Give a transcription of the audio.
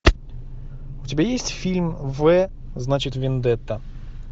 у тебя есть фильм в значит вендетта